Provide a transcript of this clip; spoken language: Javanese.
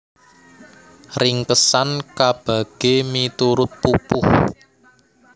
Ringkesan kabagé miturut pupuh